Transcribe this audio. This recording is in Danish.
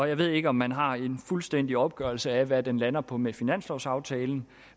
jeg ved ikke om man har en fuldstændig opgørelse af hvad den lander på med finanslovsaftalen